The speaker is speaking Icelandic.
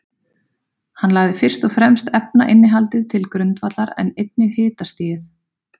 Hann lagði fyrst og fremst efnainnihaldið til grundvallar, en einnig hitastigið.